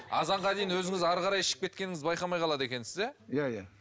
азанға дейін өзіңіз әрі қарай ішіп кеткеніңізді байқамай қалады екенсіз иә иә иә